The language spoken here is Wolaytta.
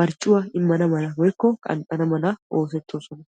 marccuwa immana mala woyikko qanxxana mala oosettoosona.